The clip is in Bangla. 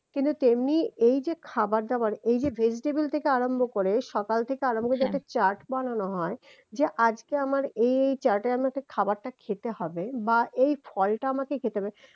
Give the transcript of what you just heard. কিন্তু তেমনি এই যে খাবার দাবার এই যে vegetable থেকে আরম্ভ করে সকাল থেকে আরম্ভ করে একটা chart বানানো হয় যে আজকে আমার এই chart এ আমাকে খাবারটা খেতে হবে বা এই ফলটা আমাকে খেতে হবে